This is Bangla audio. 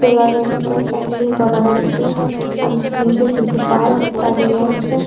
সোলার একটা প্যানেল করা আছে। তার নিচে দুটো বাস দাঁড়িয়ে আছে ।